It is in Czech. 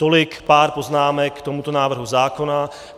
Tolik pár poznámek k tomuto návrhu zákona.